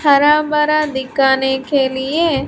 हरा बरा दिकाने के लिए--